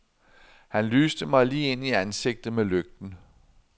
Han lyste mig lige ind i ansigtet med lygten.